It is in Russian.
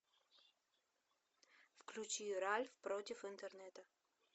включи ральф против интернета